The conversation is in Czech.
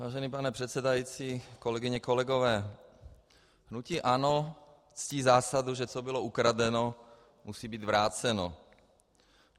Vážený pane předsedající, kolegyně, kolegové, hnutí ANO ctí zásadu, že co bylo ukradeno, musí být vráceno.